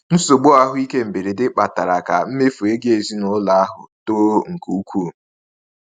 Nsogbu ahụike mberede kpatara ka mmefu ego ezinụlọ ahụ too nke ukwuu.